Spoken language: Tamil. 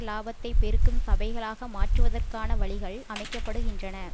இலபாத்தை பெருக்கும் சபைகளாக மாற்றுவதற்கான வழிகள் அமைக்க படுகின்றன